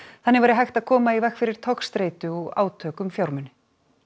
þannig væri hægt að koma í veg fyrir togstreitu og átök um fjármuni